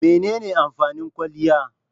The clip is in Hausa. Mene ne amfanin kwaliya?